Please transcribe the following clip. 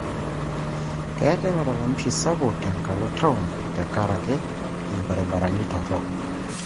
Keetai malalamishi sapuk tenkalo taon tenkaraki irbaribarani torok.